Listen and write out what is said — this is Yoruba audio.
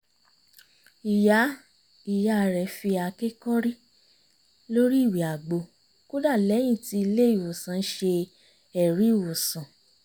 ìyá ìyá rẹ̀ fi àáké kọ́rí lórí ìwẹ́ àgbo kódà lẹ́yìn tí ilé ìwòsàn ṣe ẹ̀rí ìwòsàn